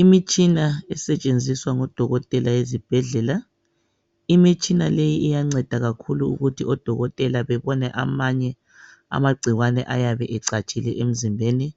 Imitshina esetshenziswa ngodokotela ezibhedlela imitshiina le iyanceda kakhulu ukuthi odokotela bebone amanye amagcikwane ayabe ecatshile emzimbeni